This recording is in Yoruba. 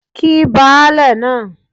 Kí baálẹ̀ náà